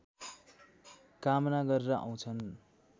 कामना गरेर आउँछन्